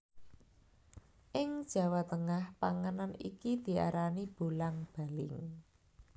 Ing Jawa Tengah panganan iki diarani bolang baling